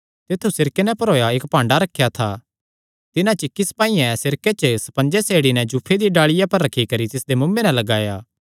तित्थु सिरके नैं भरोया इक्क भांडा रखेया था तिन्हां च इक्की सपाईयें सिरके च स्पंजे सेड़ी नैं जूफे दिया डाल़िया पर रखी करी तिसदे मुँऐ नैं लगाया